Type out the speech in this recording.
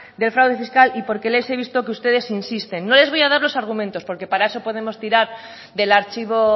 del fraude fiscal y porque les he visto que ustedes insisten no les voy a dar los argumentos porque para eso podemos tirar del archivo